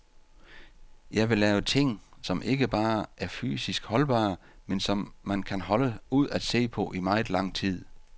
Jeg vil lave ting, som ikke bare er fysisk holdbare, men som man kan holde ud at se på i meget lang tid.